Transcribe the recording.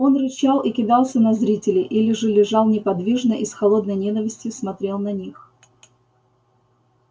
он рычал и кидался на зрителей или же лежал неподвижно и с холодной ненавистью смотрел на них